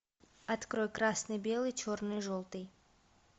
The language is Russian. открой красный белый черный желтый